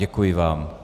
Děkuji vám.